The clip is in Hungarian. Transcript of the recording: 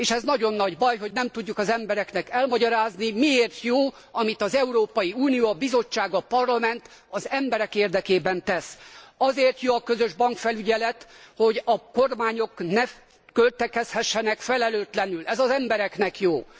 És nagyon nagy baj, hogy nem tudjuk az embereknek elmagyarázni, miért jó, amit az Európai Unió, a Bizottság, a Parlament az emberek érdekében tesz. Azért jó a közös bankfelügyelet, hogy a kormányok ne költekezhessenek felelőtlenül. Ez az embereknek jó!